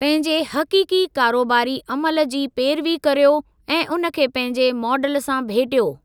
पंहिंजे हक़ीक़ी कारोबारी अमल जी पेरवी कर्यो ऐं उन खे पंहिंजे माडल सां भेटियो।